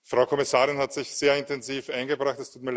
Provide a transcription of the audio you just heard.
Frau Kommissarin Vestager hat sich sehr intensiv eingebracht.